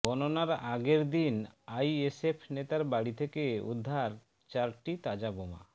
গণনার আগের দিন আইএসএফ নেতার বাড়ি থেকে উদ্ধার চারটি তাজা বোমা